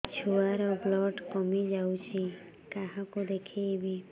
ଛୁଆ ର ବ୍ଲଡ଼ କମି ଯାଉଛି କାହାକୁ ଦେଖେଇବି